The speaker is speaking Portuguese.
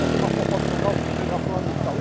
Tem uma fofoca no lugar fulano de tal.